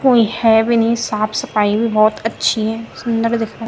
कोई है भी नि साफ सफाई भी भौत अच्छी है सुंदर दिखेणु।